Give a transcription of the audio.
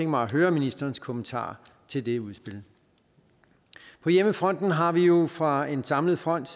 mig at høre ministerens kommentar til det udspil på hjemmefronten har vi jo fra en samlet front